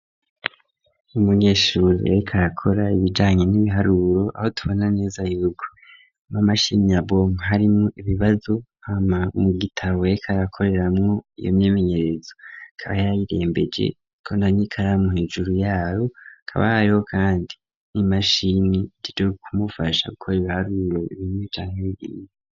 Umunyeshuri arakora ibijanye n'ibiharurro aho tubona neza yuko amamashini yabo arimo ibibazo ama mu gitabo yekayakoreramu iyo myemenyerezo .Akaba yarayirembeje hari n'ikaramu hejuru yayo kabayo kandi n'imashini iri kumufasha gukora ibiharurro ibimwe canke nkibiriye.